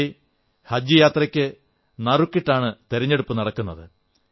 പൊതുവെ ഹജ് യാത്രയ്ക്ക് നറുക്കിട്ടാണ് തെരഞ്ഞെടുപ്പു നടക്കുന്നത്